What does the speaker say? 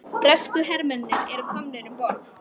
Bresku hermennirnir voru komnir um borð.